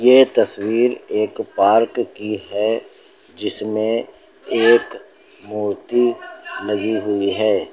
ये तस्वीर एक पार्क की है जिसमें एक मूर्ति लगी हुई है।